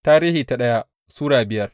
daya Tarihi Sura biyar